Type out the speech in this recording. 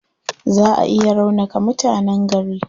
Zaa a iya raunaka mutanen gari.